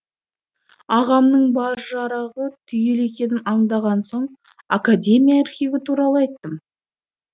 ағамның бар жарағы түгел екенін аңдаған соң академия архиві туралы айттым